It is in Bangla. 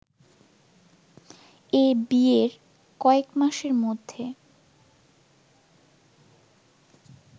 এ ‘বিয়ে’র কয়েক মাসের মধ্যে